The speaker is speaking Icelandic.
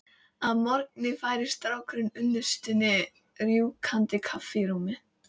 Að morgni færir strákurinn unnustunni rjúkandi kaffi í rúmið.